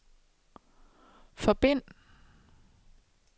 forbind